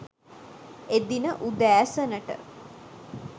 එදින උදෑසනට